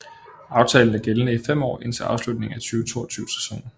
Aftalen er gældende i fem år indtil afslutningen af 2022 sæsonen